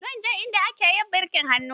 Zan je inda ake yi birkin hannu.